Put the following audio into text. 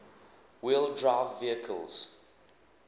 wheel drive vehicles